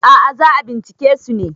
a ' a za a bincike su ne